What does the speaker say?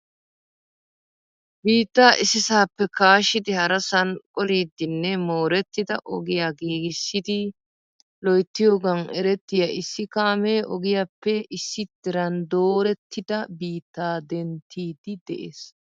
biittaa issisappe kaashshidi harassan qollidinne moorettida ogiyaa giiggissi loyttiyooga erettiya issi kaamee ogiyaappe issi diran doorettida biitta denttidi de'ees .